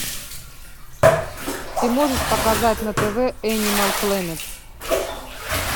ты можешь показать на тв энимал плэнет